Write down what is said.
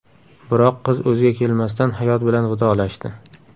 Biroq qiz o‘ziga kelmasdan hayot bilan vidolashdi.